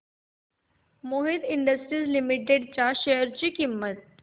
Mohit industries limited च्या share ची किंमत